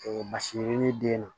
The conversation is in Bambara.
basi yirinin den na